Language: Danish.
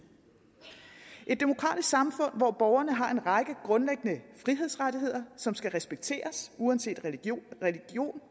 et demokratisk samfund hvor borgerne har en række grundlæggende frihedsrettigheder som skal respekteres uanset religion